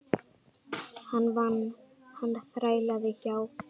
Hann vann, hann þrælaði hjá